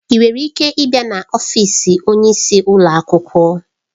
Ị nwere ike ịbịa n'ọfịs onyeisi ụlọ akwụkwọ?